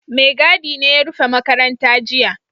Maigadi ne ya rufe makaranta jiya